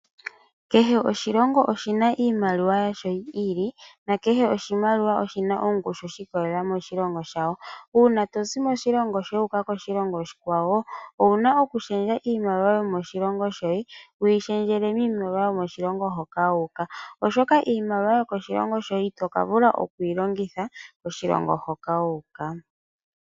Kehe oshilongo oshina iimaliwa yasho yi ili nakehe oshimaliwa oshina ongushu shiikolelela moshilongo shawo, uuna tozi moshilongo shoye wu uka koshilongo oshikwawo, owuna okushendja iimaliwa yomoshilongo shoye wii shendjele miimaliwa yomoshilongo hoka wu uka oshoka iimaliwa yokoshilongo shoye itoka vula okuyi longitha koshilongo hoka wuuka.